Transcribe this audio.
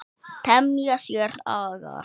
Temja sér aga.